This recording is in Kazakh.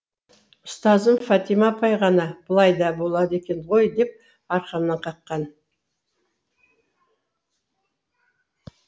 ұстазым фатима апай ғана бұлай да болады екен ғой деп арқамнан қаққан